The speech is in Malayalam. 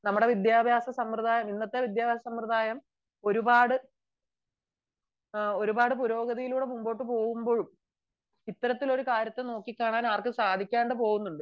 നമ്മുടെ ഇന്നത്തെ വിദ്യാഭ്യാസ സമ്പ്രദായം ഒരുപാട് പുരോഗതിയിൽകൂടി മുന്നോട്ട് പോവുമ്പോഴും ഇത്തരത്തിലുള്ള കാര്യത്തെ നോക്കിക്കാണാൻ ആർക്കും സാധിക്കാതെ പോകുന്നുണ്ട്